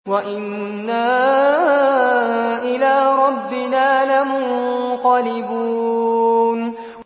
وَإِنَّا إِلَىٰ رَبِّنَا لَمُنقَلِبُونَ